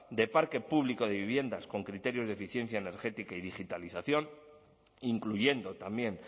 de parque público de viviendas con criterios de eficiencia energética y digitalización incluyendo también